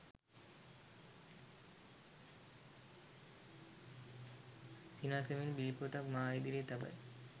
සිනාසෙමින් bill පොතක් මා ඉදිරියේ තබයි.